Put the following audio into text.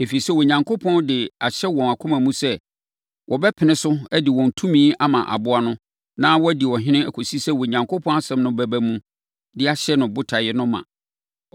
Ɛfiri sɛ, Onyankopɔn de ahyɛ wɔn akoma mu sɛ wɔbɛpene so de wɔn tumi ama aboa no na wadi ɔhene kɔsi sɛ Onyankopɔn asɛm no bɛba mu de ahyɛ ne botaeɛ no ma.